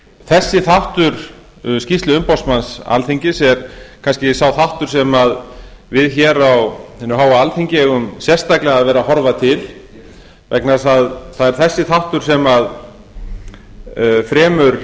þessi þáttur skýrslu umboðsmanns alþingis er kannski sá þáttur sem við hér á hinu háa alþingi eigum sérstaklega vera að horfa til vegna þess að það er þessi þáttur sem fremur